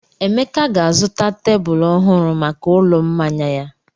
Emeka ga-azụta tebụl ọhụrụ maka ụlọ mmanya ya.